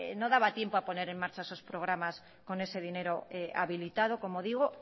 no daba tiempo a poner en marcha esos programas con ese dinero habilitado como digo